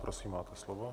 Prosím, máte slovo.